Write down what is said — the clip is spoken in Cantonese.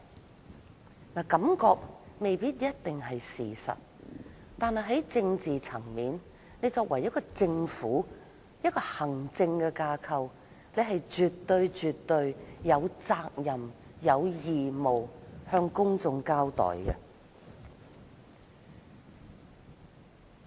雖然感覺不一定是事實，但在政治層面上，政府作為行政架構，絕對有責任向公眾交代。